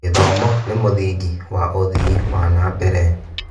Gĩthomo nĩ mũthingi wa ũthii wa na mbere.